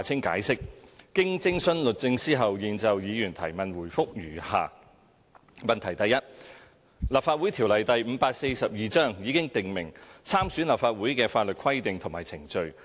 經徵詢律政司後，現就議員質詢答覆如下：一《立法會條例》已訂明參選立法會的法律規定和程序。